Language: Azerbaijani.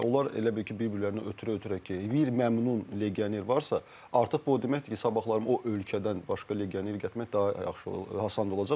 Və onlar elə bil ki, bir-birlərinə ötürə-ötürə ki, bir məmnun legioner varsa, artıq bu o deməkdir ki, sabahları o ölkədən başqa legioner gətirmək daha yaxşı olar, asan olacaq.